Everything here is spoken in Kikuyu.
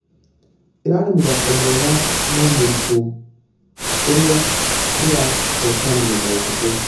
Ĩrarĩ mũthako mwega nũ mũritũ ũrĩa ndĩrahũtanire na ũhũthũ.